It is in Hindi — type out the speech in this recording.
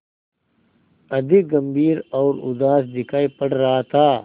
अधिक गंभीर और उदास दिखाई पड़ रहा था